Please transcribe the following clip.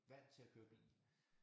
Vant til at køre bil